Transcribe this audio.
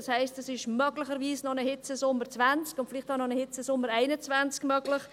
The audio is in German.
Das heisst, es ist möglicherweise noch ein Hitzesommer 2020 und vielleicht auch noch ein Hitzesommer 2021 möglich.